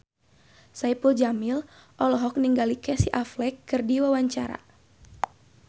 Saipul Jamil olohok ningali Casey Affleck keur diwawancara